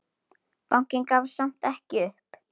Bankinn gafst samt ekki upp.